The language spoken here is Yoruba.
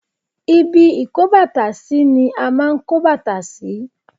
Ibi ìkóbàtàsí mi a máa ń kó bàtà sí.